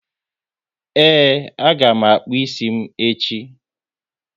Ee, a ga m akpụ ịsị m echi